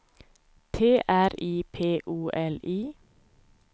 T R I P O L I